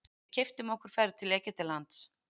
Við keyptum okkur ferð til Egyptalands.